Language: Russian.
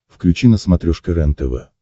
включи на смотрешке рентв